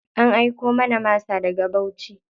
An aiko mana masa daga Bauchi.